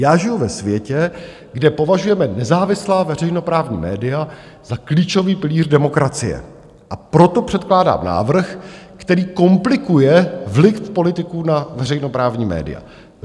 Já žiju ve světě, kde považujeme nezávislá veřejnoprávní média za klíčový pilíř demokracie, a proto předkládám návrh, který komplikuje vliv politiků na veřejnoprávní média.